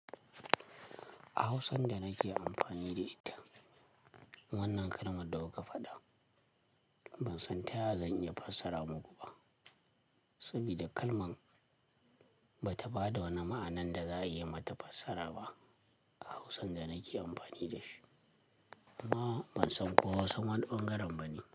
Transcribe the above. A hausan da nake amfani da ita wannan kalmar da kuka faɗa ban san taya zan iya fassara muku ba. Saboda kalman ba ta ba da wani ma'anan da za a iya mata fassara ba a hausan da nake amfani da shi. Amma ban san ko Hausan wani ɓangaren ba ne.